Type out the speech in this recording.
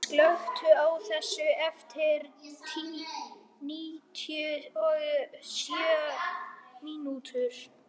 Telma, slökktu á þessu eftir níutíu og sjö mínútur.